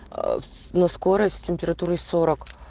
на скорость с температурой сорок